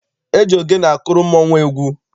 E ji ogene akụrụ mmọnwụ egwu.